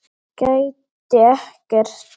Gæti ekkert.